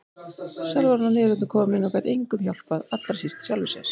Sjálf var hún að niðurlotum komin og gat engum hjálpað, allra síst sjálfri sér.